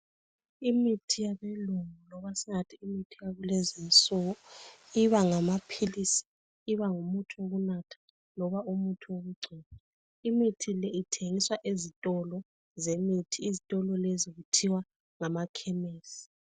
Imithi yabelungu loba singathi imithi yakulezinsuku iba ngamaphilisi, imithi yokunatha loba eyokugcoba. Imithi le ithengiswa ezitolo zemithi. Izitolo lezi kuthiwa ngamakhemesi.